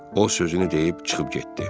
O sözünü deyib çıxıb getdi.